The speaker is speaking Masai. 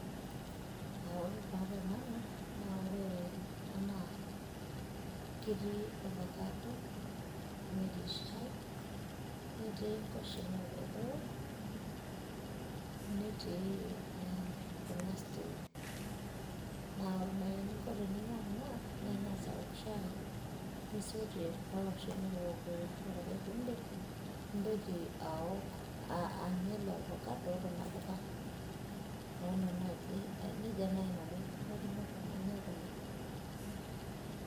ore taa tenanu naa ore ena ketii orfacado netii shai netii nkwashen oorkokoyo, netii kuna stew naa ore naai eninko teninyia kuna ingas aok shai ninosie kuna kwashen oorkokoyok. ore ake pee iidip nintoki anya kuna facado okuna puka, neeku nejia naji nanu aikunakino tenanya kuna.